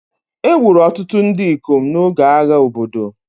Egburu ọtụtụ ndị ikom n'oge agha obodo